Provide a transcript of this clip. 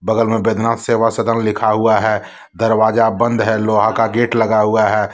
बैजनाथ सेवा सदन लिखा हुआ है दरवाजा बंद है लोहा का गेट लगा हुआ है।